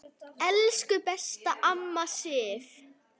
Elsku besta amma Sif.